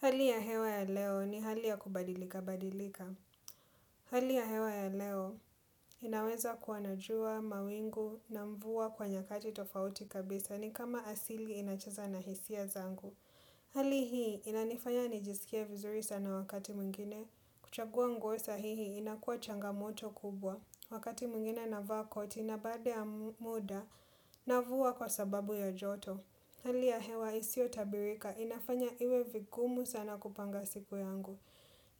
Hali ya hewa ya leo ni hali ya kubadilikabadilika. Hali ya hewa ya leo inaweza kua na jua, mawingu na mvua kwa nyakati tofauti kabisa ni kama asili inacheza na hisia zangu. Hali hii inanifanya nijisikie vizuri sana wakati mwingine. Kuchagua nguo sahihi inakuwa changamoto kubwa. Wakati mwingine navaa koti na baada ya muda navua kwa sababu ya joto. Hali ya hewa isiotabilika, inafanya iwe vigumu sana kupanga siku yangu.